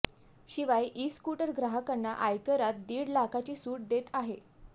शिवाय e scooter ग्राहकांना आयकरात दीड लाखाची सुट देत आहे